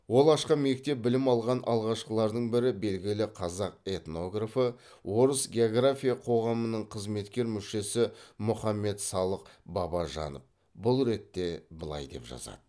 ол ашқан мектептен білім алған алғашқылардың бірі белгілі қазақ этнографы орыс география қоғамының қызметкер мүшесі мұхаммед салық бабажанов бұл ретте былай деп жазады